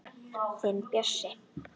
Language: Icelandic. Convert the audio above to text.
Þinn Bjössi.